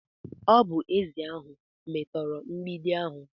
Ọ bụ ezi ahụ metora mgbidi ahu.